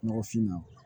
Nɔgɔfinma